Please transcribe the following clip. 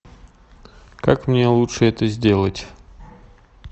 как мне лучше это сделать